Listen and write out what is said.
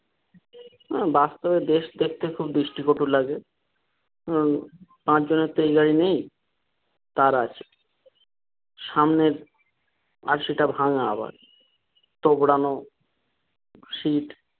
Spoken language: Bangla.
বাস্তবে দেশ দেখতে খব দৃষ্টি কটু লাগে পাঁচ জনের তো এই গাড়ি নেই তার আছে সামনের আরসি টা ভাঙা আবার তোবড়ানো সিট।